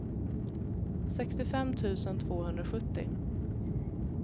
sextiofem tusen tvåhundrasjuttio